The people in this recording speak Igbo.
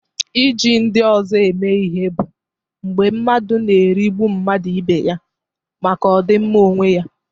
Iji ndị ọzọ eme ihe bụ mgbe mmadụ na-erigbu mmadụ ibe ya maka ọdịmma onwe ya.